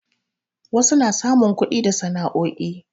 wasu na samun kudi da sana'o'i